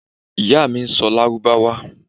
Iya mi n sọ lárúbáwá